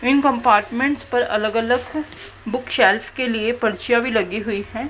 इन compartments पर अलग अलग बुकशेल्फ के लिए परिचियां भी लगी हुई हैं।